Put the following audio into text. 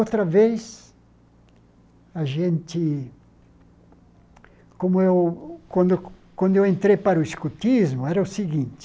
Outra vez, a gente... Como eu quando eu quando eu entrei para o escotismo, era o seguinte.